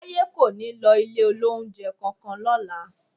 Táyé kò ní lọ ilé-olóunjẹ kankan lọ́la